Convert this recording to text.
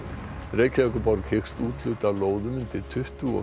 Reykjavíkurborg hyggst úthluta lóðum undir tuttugu og